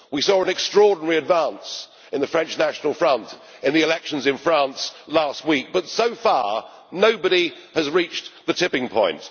We saw an extraordinary advance by the French National Front in the elections in France last week, but so far nobody has reached the tipping point.